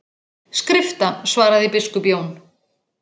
Skrifta, svaraði biskup Jón.